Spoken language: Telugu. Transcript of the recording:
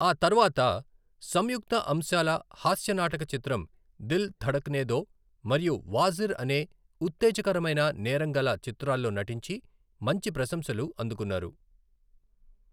ఆ తర్వాత, సంయుక్త అంశాల హాస్య నాటక చిత్రం 'దిల్ ధడక్నే దో', మరియు ' వాజిర్ ' అనే ఉత్తేజకరమైన నేరంగల చిత్రాల్లో నటించి మంచి ప్రశంసలు అందుకున్నారు.